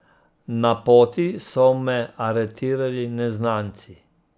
Na poti so me aretirali neznanci.